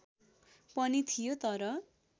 पनि थियो तर